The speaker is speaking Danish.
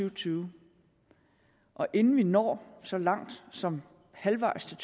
og tyve og inden vi når så langt som halvvejs til